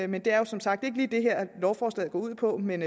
men det er som sagt ikke lige det lovforslaget går ud på men